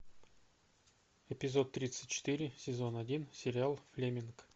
эпизод тридцать четыре сезон один сериал флеминг